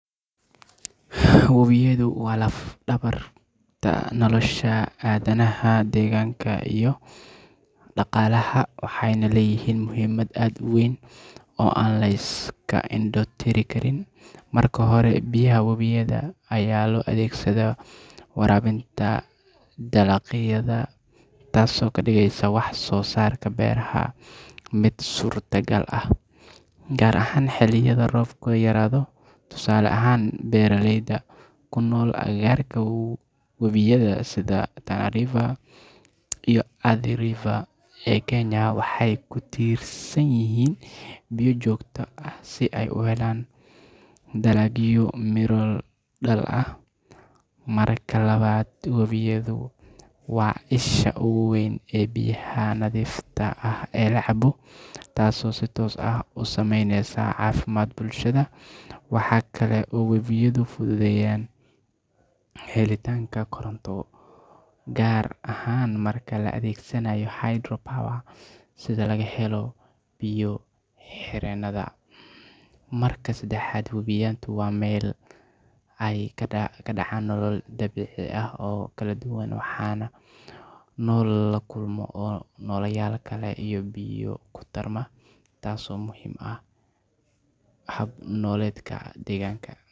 Webiyadu waa laf-dhabarta nolosha aadanaha, deegaanka, iyo dhaqaalaha, waxayna leeyihiin muhiimad aad u weyn oo aan la iska indho tiri karin. Marka hore, biyaha webiyada ayaa loo adeegsadaa waraabinta dalagyada, taasoo ka dhigaysa wax-soo-saarka beeraha mid suurtagal ah, gaar ahaan xilliyada roobku yaraado. Tusaale ahaan, beeraleyda ku nool agagaarka webiyada sida Tana River iyo Athi River ee Kenya waxay ku tiirsan yihiin biyo joogto ah si ay u helaan dalagyo miro dhal ah. Marka labaad, webiyadu waa isha ugu weyn ee biyaha nadiifta ah ee la cabo, taasoo si toos ah u saameyneysa caafimaadka bulshada. Waxaa kale oo webiyadu fududeeyaan helitaanka koronto gaar ahaan marka la adeegsado hydropower sida laga helo biyo-xireennada. Marka saddexaad, webiyadu waa meel ay ka dhacaan nolol dabiici ah oo kala duwan, waxaana ku nool kalluunno iyo noolayaal kale oo biyaha ku tarma, taasoo muhiim u ah hab-nololeedka deegaanka.